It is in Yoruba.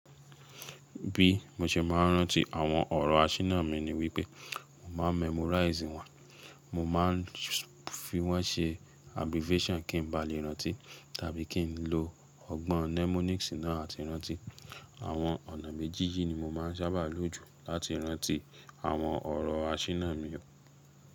Bí mo ṣe máa ń rántí àwọn ọ̀rọ̀ asínà mi ni wípé mo máa memorizing wọ́n, mo máa ń fi wọ́n ṣe abbreviation kí n ba lè rántí tàbí kí n lo ọgbọ́n mnemonics náà láti rántí. Àwọn ọ̀nà méjì yìí ni mo máa ń sábà lò jù láti rántí àwọn ọ̀rọ̀ asínà mi.